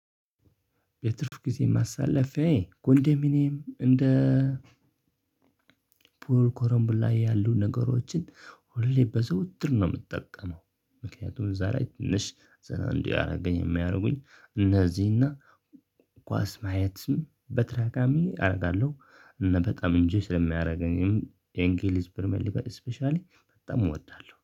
በትርፍ ጊዜ ማሳለፊያዬ ኮንዶሚኒየም እንደ ፑል ከረምቡላ ያሉ ነገሮችን ሁሌ በዘውትር ነው የምጠቀመው። ምክንያቱም እዛ ላይ ትንሽ ዘና እንዲያረገኝ የሚያደርጉኝ እነዚህና ኳስ ማየትም በተደጋጋሚ አደርጋለሁ። እና በጣም እንጂ ስለሚያደርገኝም የእንግሊዝ ፕሪሚየር ሊግ ስፔሻሊ በጣም እወዳለሁ